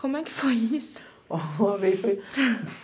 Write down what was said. Como é que foi isso?